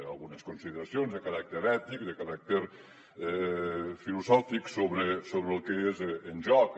algunes consideracions de caràcter ètic de caràcter filosòfic sobre el que és el joc